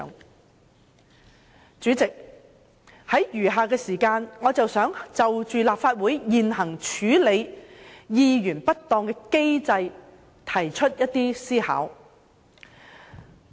代理主席，在餘下的時間，我想就立法會處理議員不當行為的現行機制提出一些思考。